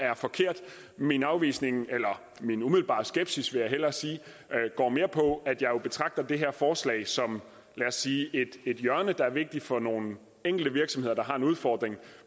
er forkert min afvisning eller min umiddelbare skepsis vil jeg hellere sige går mere på at jeg jo betragter det her forslag som et hjørne der er vigtigt for nogle enkelte virksomheder der har en udfordring